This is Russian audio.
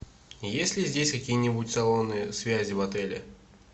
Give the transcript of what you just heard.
есть ли здесь какие нибудь салоны связи в отеле